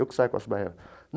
Eu que saio com as baianas.